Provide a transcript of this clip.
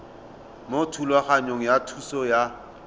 mo thulaganyong ya thuso y